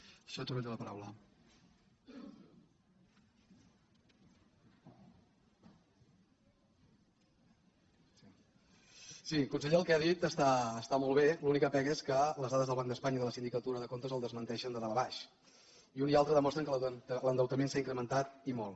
sí conseller el que ha dit està molt bé l’única pega és que les dades del banc d’espanya i de la sindicatura de comptes el desmenteixen de dalt a baix i un i altre demostren que l’endeutament s’ha incrementat i molt